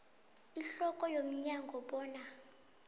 ihloko yomnyango bona